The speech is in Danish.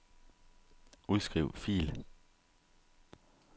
Udskriv fil.